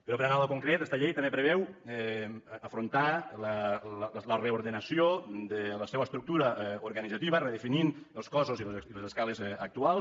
però per anar a lo concret esta llei també preveu afrontar la reordenació de la seua estructura organitzativa redefinint els cossos i les escales actuals